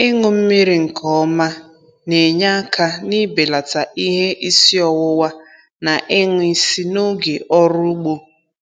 Ịṅụ mmiri nke ọma na-enye aka n'ibelata ihe isi ọwụwa na ịṅwụ isi n'oge ọrụ ugbo.